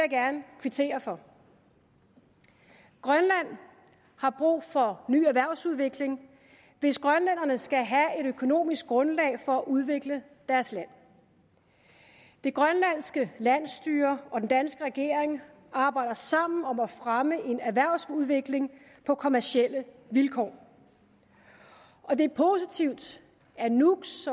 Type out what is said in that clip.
gerne kvittere for grønland har brug for ny erhvervsudvikling hvis grønlænderne skal have et økonomisk grundlag for at udvikle deres land det grønlandske landsstyre og den danske regering arbejder sammen om at fremme en erhvervsudvikling på kommercielle vilkår og det er positivt at nuuks